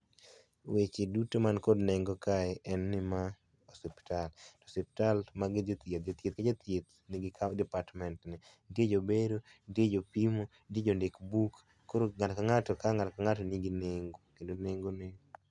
Weche duto man kod neng'o kae en ni ma osiptal, osiptal jathieth ka jathieth ni gi department ne nitie jobero ,jopimo, jondik buk koro ng'ato ka ng'ato ka ng'ato ka ng'ato kae ni gi neng'o kendo neng'o ne.